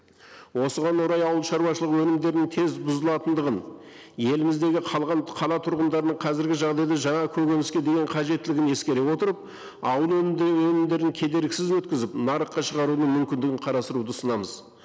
осыған орай ауыл шаруашылығы өнімдерінің тез бұзылатындығын еліміздегі қалған қала тұрғындарының қазіргі жағдайда жаңа көкөніске деген қажеттілігін ескере отырып ауыл өнімдерін кедергісіз өткізіп нарыққа шығаруының мүмкіндігін қарастыруды ұсынамыз